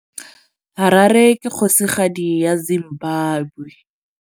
Harare ke kgosigadi ya Zimbabwe.